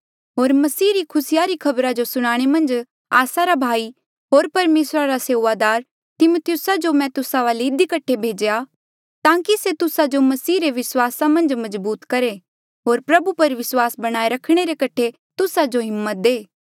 होर मसीह रे खुसी री खबरा जो सुनाणे मन्झ आस्सा रा भाई होर परमेसरा रा सेऊआदार तिमिथियुसा जो मैं तुस्सा वाले इधी कठे भेज्या ताकि से तुस्सा जो मसीहा रे विस्वासा मन्झ मजबूत करहे होर प्रभु पर विस्वासा बनाये रखणे रे कठे तुस्सा जो हिम्मत दे